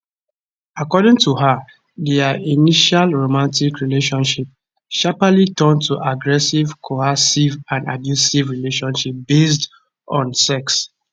according to her dia initial romantic relationship sharply turn to aggressive coercive and abusive relationship based on sex